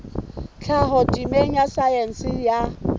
tlhaho temeng ya saense ya